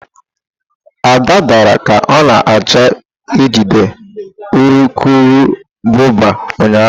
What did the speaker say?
Ada dara ka ọ na-achọ ijide urukurubụba ụnyahụ.